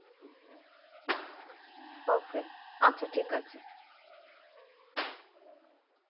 ok আচ্ছা ঠিক আছে